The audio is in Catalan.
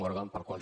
morgan pel qual j